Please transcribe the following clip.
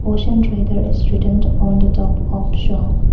Ocean traders is written on the top of the shop.